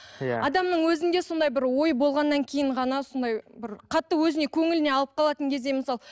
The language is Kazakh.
иә адамның өзінде сондай бір ой болғаннан кейін ғана сондай бір қатты өзіне көңіліне алып қалатын кезде мысалы